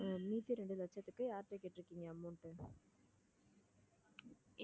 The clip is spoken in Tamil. மீதி ரெண்டு லட்சத்துக்கு யார்ட்ட கேட்டிருக்கீங்க amount